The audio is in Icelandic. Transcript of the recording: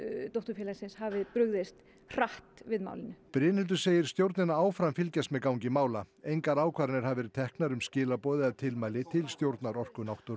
dótturfélagsins hafi brugðist hratt við málinu Brynhildur segir stjórnina áfram fylgjast með gangi mála engar ákvarðanir hafi verið teknar um skilaboð eða tilmæli til stjórnar Orku náttúrunnar